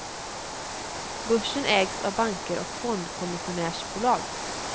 Börsen ägs av banker och fondkommissionärsbolag.